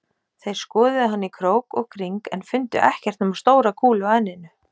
Þeir skoðuðu hann í krók og kring en fundu ekkert nema stóra kúlu á enninu